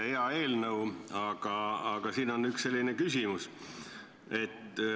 Hea eelnõu, aga üks küsimus.